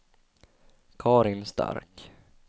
Karin Stark